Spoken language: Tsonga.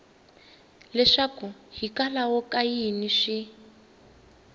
leswaku hikwalaho ka yini swi